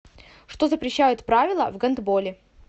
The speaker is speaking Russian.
что запрещают правила в гандболе